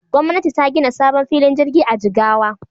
Gwamtani ta gina sabon filin jirgi a Jigawa.